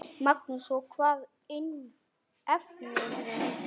Magnús: Og hvaða efnivið notarðu?